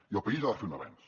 i el país ha de fer un avenç